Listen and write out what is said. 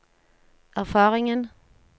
erfaringen